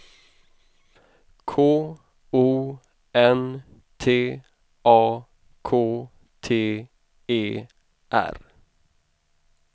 K O N T A K T E R